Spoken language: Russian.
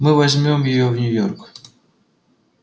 мы возьмём её в нью-йорк